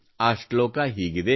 ಆ ಶ್ಲೋಕ ಹೀಗಿದೆ